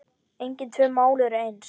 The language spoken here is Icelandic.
Engin tvö mál eru eins.